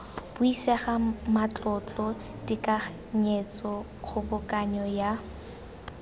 buisega matlotlo tekanyetso kgobokanyo ya